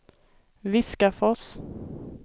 Viskafors